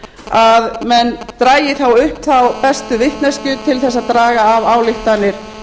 að menn dragi upp þá bestu vitneskju til að draga af ályktanir